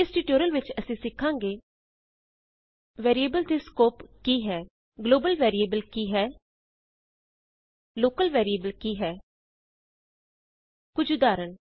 ਇਸ ਟਯੂਟੋਰੀਅਲ ਵਿਚ ਅਸੀਂ ਸਿਖਾਂਗੇ ਵੈਰੀਏਬਲ ਦੇ ਸਕੋਪ ਕੀ ਹੈ ਗਲੋਬਲ ਵੈਰੀਏਬਲ ਕੀ ਹੈ ਲੋਕਲ ਵੈਰੀਏਬਲ ਕੀ ਹੈ ਕੁਝ ਉਦਾਹਰਣ